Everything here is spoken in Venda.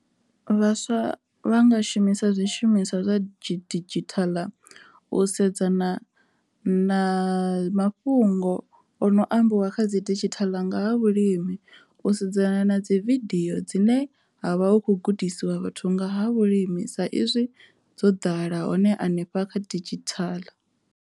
Vhaswa vha nga shumisa zwishumiswa zwa didzhithala u sedzana na mafhungo o no ambiwa kha dzi didzhithala nga ha vhulimi u sedzana na dzi vidio dzine ha vha hu khou gudisiwa vhathu nga ha vhulimi sa izwi dzo ḓala hone hanefha kha didzhithala.